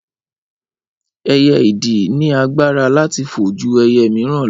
Ẹyẹ idì ni agbára láti fo ju ẹyẹ miran lọ